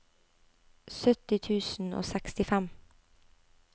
sytti tusen og sekstifem